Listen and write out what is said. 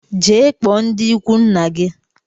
Jee kpụọ ndi ikwu nna gi!